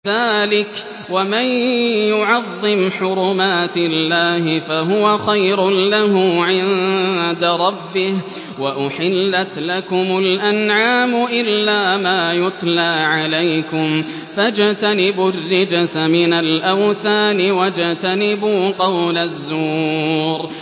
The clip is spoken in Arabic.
ذَٰلِكَ وَمَن يُعَظِّمْ حُرُمَاتِ اللَّهِ فَهُوَ خَيْرٌ لَّهُ عِندَ رَبِّهِ ۗ وَأُحِلَّتْ لَكُمُ الْأَنْعَامُ إِلَّا مَا يُتْلَىٰ عَلَيْكُمْ ۖ فَاجْتَنِبُوا الرِّجْسَ مِنَ الْأَوْثَانِ وَاجْتَنِبُوا قَوْلَ الزُّورِ